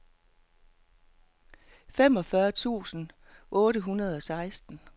femogfyrre tusind otte hundrede og seksten